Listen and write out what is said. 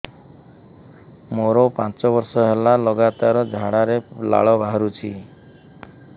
ମୋରୋ ପାଞ୍ଚ ବର୍ଷ ହେଲା ଲଗାତାର ଝାଡ଼ାରେ ଲାଳ ବାହାରୁଚି